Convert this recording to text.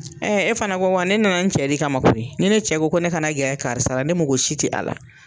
Ɛɛ e fana ko wa ne nana n cɛ de kama koyi. Ni ne cɛ ko ne ka na gɛrɛ karisa la, ne mago si ti a la.